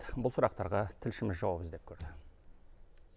бұл сұрақтарға тілшіміз жауап іздеп көрді